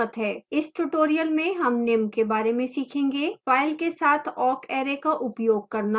इस tutorial में हम निम्न के बारे में सीखेंगेः